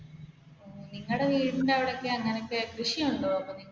നിങ്ങളുടെ വീടിന്റെ അവിടെയൊക്കെ കൃഷിയുണ്ടോ?